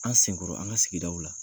An senkɔrɔ, an ka sigida la.